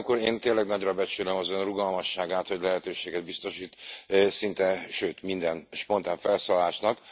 Én tényleg nagyra becsülöm az Ön rugalmasságát, hogy lehetőséget biztosít szinte sőt minden spontán felszólalásnak.